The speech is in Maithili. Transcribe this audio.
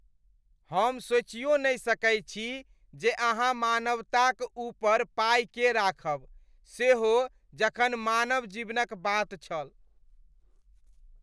हमरा सोचियो नै सकै छी जे अहाँ मानवताक ऊपर पाइ के राखब, सेहो जखन मानव जीवनक बात छल।